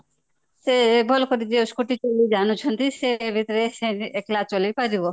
ଯେ ଭଲ କରି scooty ଜାଣୁଛନ୍ତି ସେ ଏବେ ଅକେଲା ଚଳେଇ ପାରିବ